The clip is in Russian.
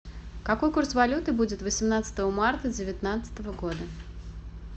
какой курс валюты будет восемнадцатого марта девятнадцатого года